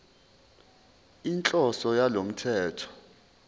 inhloso yalo mthetho